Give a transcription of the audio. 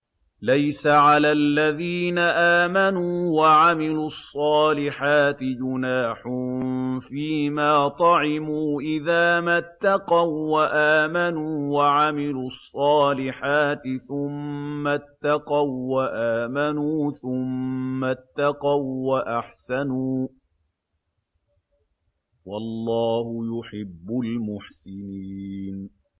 لَيْسَ عَلَى الَّذِينَ آمَنُوا وَعَمِلُوا الصَّالِحَاتِ جُنَاحٌ فِيمَا طَعِمُوا إِذَا مَا اتَّقَوا وَّآمَنُوا وَعَمِلُوا الصَّالِحَاتِ ثُمَّ اتَّقَوا وَّآمَنُوا ثُمَّ اتَّقَوا وَّأَحْسَنُوا ۗ وَاللَّهُ يُحِبُّ الْمُحْسِنِينَ